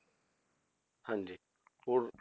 ਹਾਂਜੀ ਹੋਰ